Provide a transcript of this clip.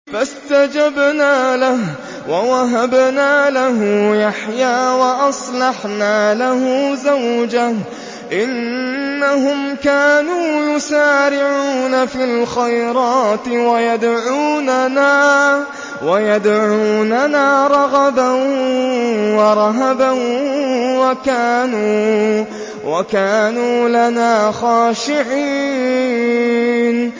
فَاسْتَجَبْنَا لَهُ وَوَهَبْنَا لَهُ يَحْيَىٰ وَأَصْلَحْنَا لَهُ زَوْجَهُ ۚ إِنَّهُمْ كَانُوا يُسَارِعُونَ فِي الْخَيْرَاتِ وَيَدْعُونَنَا رَغَبًا وَرَهَبًا ۖ وَكَانُوا لَنَا خَاشِعِينَ